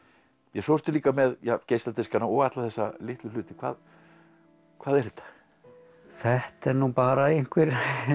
svo ertu líka með geisladiskana og alla þessa litlu hluti hvað hvað er þetta þetta eru nú bara einhver